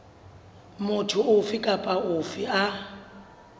motho ofe kapa ofe a